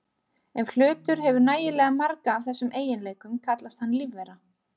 Ef hlutur hefur nægilega marga af þessum eiginleikum kallast hann lífvera.